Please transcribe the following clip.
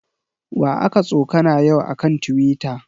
Wa aka tsokana yau a kan Tiwita?